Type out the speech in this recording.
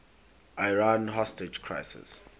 iran hostage crisis